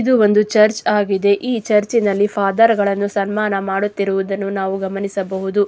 ಇದು ಒಂದು ಚರ್ಚ್ ಆಗಿದೆ ಈ ಚರ್ಚ್ ನಲ್ಲಿ ಫಾದರ್ ಗಳನ್ನು ಸನ್ಮಾನ ಮಾಡುತ್ತಿರುವುದನ್ನು ನಾವು ಗಮನಿಸಬಹುದು.